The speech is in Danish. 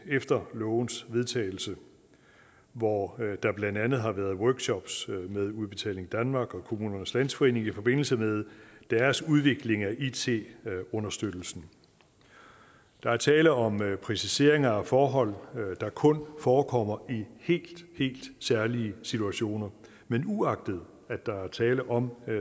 efter lovens vedtagelse hvor der blandt andet har været workshops med udbetaling danmark og kommunernes landsforening i forbindelse med deres udvikling af it understøttelsen der er tale om præciseringer af forhold der kun forekommer i helt helt særlige situationer men uagtet at der er tale om